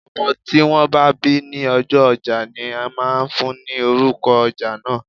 Ọmọ tí wón bá bí ní ọjọ́ ojá ní máà ń fún ni orúko ojá náà.